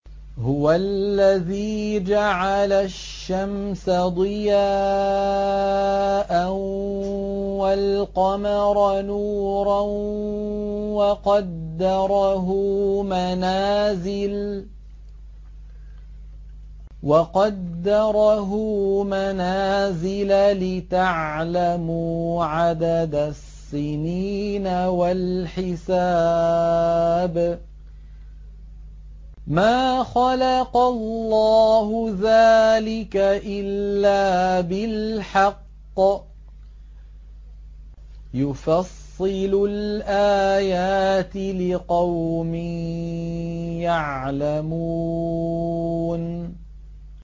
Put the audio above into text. هُوَ الَّذِي جَعَلَ الشَّمْسَ ضِيَاءً وَالْقَمَرَ نُورًا وَقَدَّرَهُ مَنَازِلَ لِتَعْلَمُوا عَدَدَ السِّنِينَ وَالْحِسَابَ ۚ مَا خَلَقَ اللَّهُ ذَٰلِكَ إِلَّا بِالْحَقِّ ۚ يُفَصِّلُ الْآيَاتِ لِقَوْمٍ يَعْلَمُونَ